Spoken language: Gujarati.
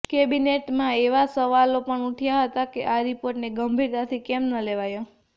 કૅબિનેટમાં એવા સવાલો પણ ઊઠ્યા હતા કે આ રિપોર્ટને ગંભીરતાથી કેમ ન લેવાયો